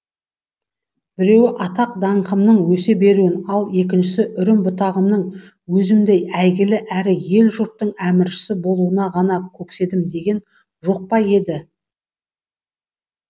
біреуі атақ даңқымның өсе беруін ал екіншісі үрім бұтағымның өзімдей әйгілі әрі ел жұрттың әміршісі болуын ғана көкседім деген жоқ па еді